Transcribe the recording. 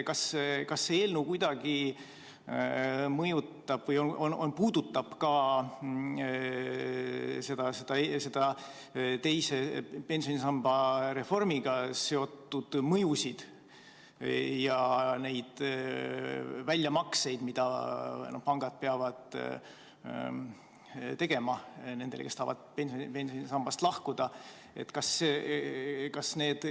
Kas see eelnõu puudutab kuidagi ka teise pensionisamba reformiga seotud mõju ja väljamakseid, mida pangad peavad tegema nendele, kes tahavad pensionisambast lahkuda?